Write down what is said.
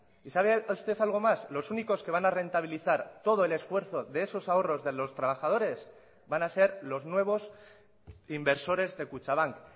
y sabe usted algo más los únicos que van a rentabilizar todo el esfuerzo de esos ahorros de los trabajadores van a ser los nuevos inversores de kutxabank